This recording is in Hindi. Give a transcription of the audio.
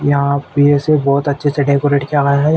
यहा पे से बहोत अच्छे से डेकोरेट किया हुआ है।